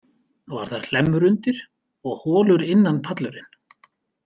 Var þar hlemmur undir og holur innan pallurinn.